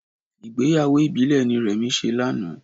Ìgbéyàwó ìbílẹ̀ ni Remi ṣe lánàá